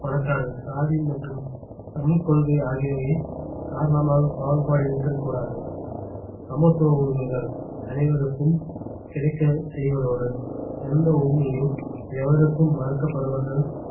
பணக்காரர் சாதி மற்றும் சமயக்கொள்கை ஆகியவை காரணமாக பாகுபாடு இருத்தல் கூடாது சமத்துவ உரிமைகள் அனைவருக்கும் கிடைக்கச் செய்வதோடு எந்த உரிமையும் எவருக்கும் மறுக்கப்படுவது